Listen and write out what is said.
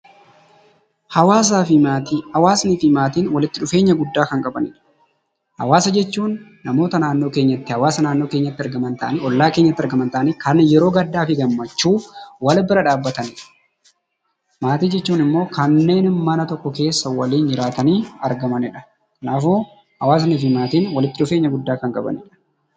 Hawaasaa fi Maatii: Hawaasni fi Maatiin walitti dhufeenya guddaa kan qabanidha. Hawaasa jechuun namoota naannoo keenyatti, hawaasa naannoo keenyatti argaman ta'anii, ollaa keenyatti argaman ta'anii kan yeroo gaddaa fi gammachuu wal bira dhaabbatan. Maatii jechuun ammoo kanneen mana yokko keessa waliin jiraatanii argamanidha. Kanaafuu hawaasni fi maatiin walitti dhufeenya guddaa kan qabanidha.